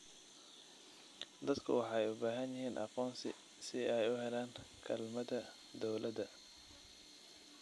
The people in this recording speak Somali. Dadku waxay u baahan yihiin aqoonsi si ay u helaan kaalmada dawladda.